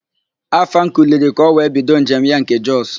Afam kuliri n'oge ka ọ wee bido njem ya nke Jọs.